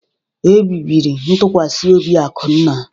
Ebibiri ntụkwasị obi Akunna.